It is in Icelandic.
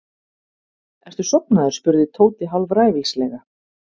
Ertu sofnaður? spurði Tóti hálfræfilslega.